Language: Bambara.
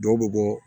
Dɔw bɛ bɔ